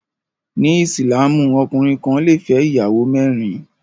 Ní ìsìlámù, ọkùnrin kan lè fẹ́ ìyàwó mẹ́rin